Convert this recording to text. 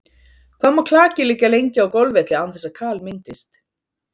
Hvað má klaki liggja lengi á golfvelli án þess að kal myndist?